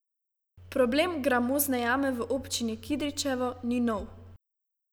Problem gramozne jame v občini Kidričevo ni nov.